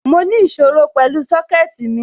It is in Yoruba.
Mo ní ìṣòro pẹ̀lú Sọ́kẹ̀tì mi